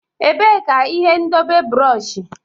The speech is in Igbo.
Ebee ka ihe ndebe bụrọshị?